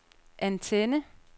antenne